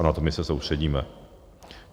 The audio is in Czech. A na to my se soustředíme.